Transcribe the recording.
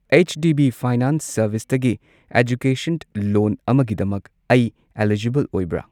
H D B finance ꯁꯔꯕꯤꯁꯇꯒꯤ education loan ꯑꯃꯒꯤꯗꯃꯛ ꯑꯩ ꯑꯦꯂꯤꯖꯤꯕꯜ ꯑꯣꯏꯕ꯭ꯔꯥ?